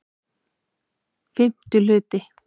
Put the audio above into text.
VIII Hluti